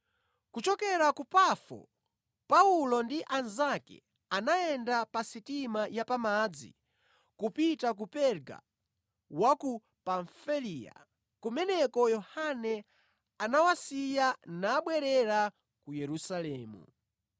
Kuchokera ku Pafo, Paulo ndi anzake anayenda pa sitima ya pamadzi kupita ku Perga wa ku Pamfiliya, kumeneko Yohane anawasiya nabwerera ku Yerusalemu.